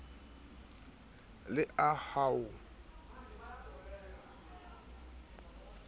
le a hoa ha a